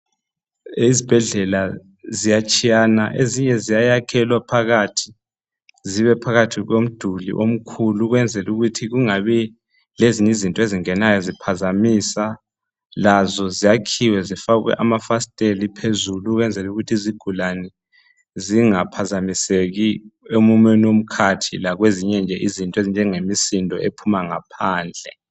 Esibhedlela ziyatshiyana ezinye ziyayakhelwa phakathi komduli omkhulu ukwenzela ukuthi kungabi lezinye izinto ezingenayo ziphazamisa lazo zakhiwe zifakwe amafasiteli phezulu ukwenzela ukuthi izigulani zinga phazamiseki emumeni womkhatho lakwezinye izinto eziphuma ngaphandle